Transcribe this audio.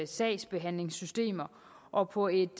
sagsbehandlingssystemer og på et